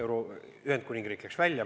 Ühendkuningriik näiteks läks liidust välja.